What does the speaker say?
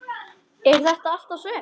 Er þetta allt og sumt?